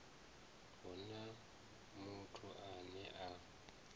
hu na muthu ane a